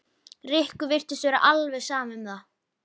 Rikku virtist vera alveg sama um það.